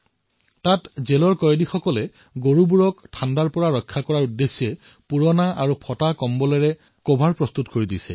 তাত কাৰাবাস খাটি থকা বন্দীসকলে গাইবোৰক শীতৰ পৰা ৰক্ষা কৰিবলৈ পুৰণি আৰু ফটা কম্বলৰ পৰা কভাৰ প্ৰস্তুত কৰি আছে